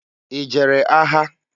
I jere agha?